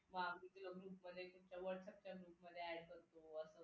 मग whatsapp group मध्ये add करतो